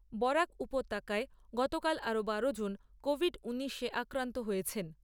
বরাক উপত্যকায় গতকাল আরো বারো জন কোভিড ঊনিশে আক্রান্ত হয়েছেন।